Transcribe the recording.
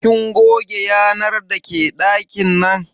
Kin goge yanar dake ɗakin nan?